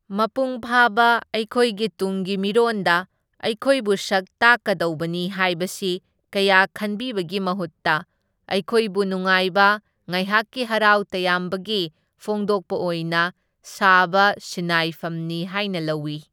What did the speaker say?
ꯃꯄꯨꯡ ꯐꯥꯕ ꯑꯩꯈꯣꯏꯒꯤ ꯇꯨꯡꯒꯤ ꯃꯤꯔꯣꯟꯗ ꯑꯩꯈꯣꯏꯕꯨ ꯁꯛ ꯇꯥꯛꯀꯗꯧꯕꯅꯤ ꯍꯥꯏꯕꯁꯤ ꯀꯌꯥ ꯈꯟꯕꯤꯕꯒꯤ ꯃꯍꯨꯠꯇ ꯑꯩꯈꯣꯏꯕꯨ ꯅꯨꯡꯉꯥꯏꯕ ꯉꯥꯏꯍꯥꯛꯀꯤ ꯍꯔꯥꯎ ꯇꯌꯥꯝꯕꯒꯤ ꯐꯣꯡꯗꯣꯛꯄ ꯑꯣꯏꯅ ꯁꯥꯕ ꯁꯤꯟꯅꯥꯏꯐꯝꯅꯤ ꯍꯥꯏꯅ ꯂꯧꯢ꯫